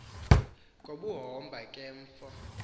ngobuhomba ke mfo